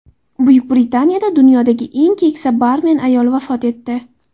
Buyuk Britaniyada dunyodagi eng keksa barmen ayol vafot etdi.